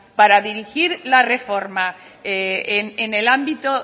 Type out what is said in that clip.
para dirigir la reforma en el ámbito